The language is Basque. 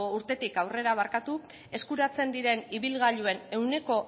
urtetik aurrera eskuratzen diren ibilgailuen ehuneko